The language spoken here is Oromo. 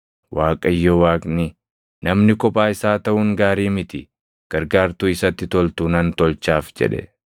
Waaqayyo Waaqni, “Namni kophaa isaa taʼuun gaarii miti; gargaartuu isatti toltu nan tolchaaf” jedhe.